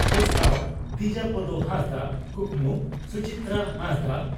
ᱯᱚᱥᱛᱟᱣ (ᱫᱤᱡᱟᱯᱚᱫᱚ ᱦᱟᱸᱥᱫᱟ) ᱠᱩᱠᱢᱩ (ᱥᱩᱪᱤᱛᱨᱟ ᱦᱟᱸᱥᱫᱟ)